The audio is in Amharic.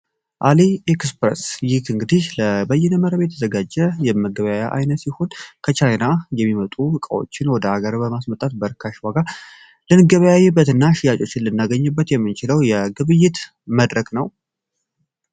አሊ ኤክስፐረስ ይህ እንግዲህ ለበይነመረብ የተዘጋጀ የመገባያ አይነ ሲሆን ከቻይና የሚመጡ ዕቃዎችን ወደ ሀገር በማስመጣት በርካሽ ዋጋ ልንገበያዊ በትና ሽያጩ ሲልናገኝበት የምንችለው የግብይት መድረግ ነው፡፡